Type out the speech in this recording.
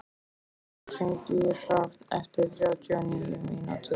Sunneva, hringdu í Hrafn eftir þrjátíu og níu mínútur.